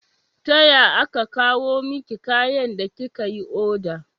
Taya aka kawo miki kayan da kika yi oda?